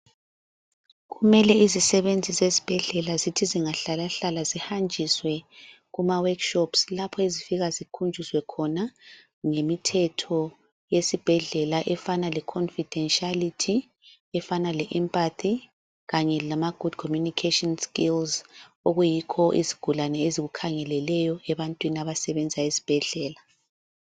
Kumele izisebenzi zezibhedlela zithi zingahlalahlala zihanjiswe kuma workshops. Lapho ezifika zikhunjuzwe khona ngemithetho yezibhedlala efana le khofidenshiyalithi. Efanana le empathy kanye lama good communication skills. Okuyikho izigulane ezikukhangeleleyo ebantwini abasebenza ezibhedlela.